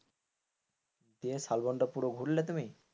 দিয়ে শালবনটা পুরো ঘুরলে তুমি।